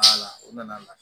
o nana